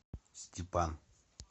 степан